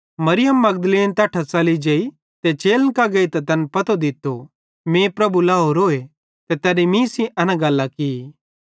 मरियम मगदलीनी तैट्ठां च़ली जेई ते चेलन कां गेइतां तैन पतो दित्तो मीं प्रभु लाहोरोए ते तैनी मीं सेइं एना गल्लां की